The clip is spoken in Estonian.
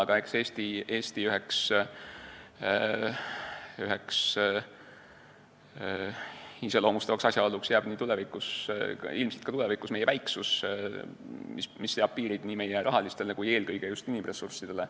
Aga eks Eesti üheks iseloomustavaks asjaoluks jääb ilmselt ka tulevikus väiksus, mis seab piirid meie rahalistele ja eelkõige inimressurssidele.